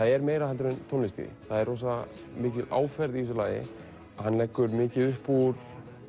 er meira heldur en tónlist í því það er rosamikil áferð í þessu lagi hann leggur mikið upp úr